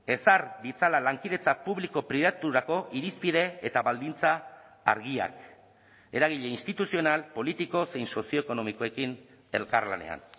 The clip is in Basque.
ezar ditzala lankidetza publiko pribaturako irizpide eta baldintza argiak eragile instituzional politiko zein sozioekonomikoekin elkarlanean